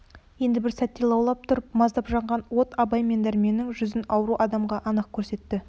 енді бір сәтте лаулап тұрып маздап жанған от абай мен дәрменнің жүзін ауру адамға анық көрсетті